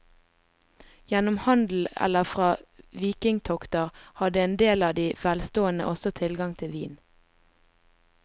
Gjennom handel eller fra vikingtokter hadde en del av de velstående også tilgang til vin.